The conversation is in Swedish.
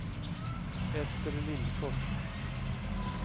Ester Lindfors